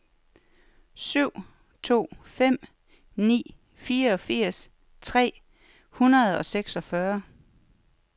syv to fem ni fireogfirs tre hundrede og seksogfyrre